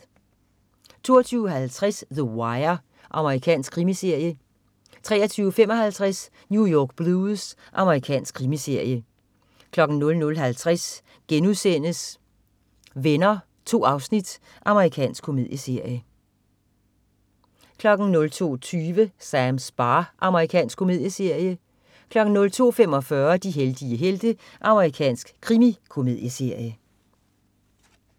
22.50 The Wire. Amerikansk krimiserie 23.55 New York Blues. Amerikansk krimiserie 00.50 Venner.* 2 afsnit. Amerikansk komedieserie 01.55 Veronica.* Amerikansk komedieserie 02.20 Sams bar. Amerikansk komedieserie 02.45 De heldige helte. Amerikansk krimikomedieserie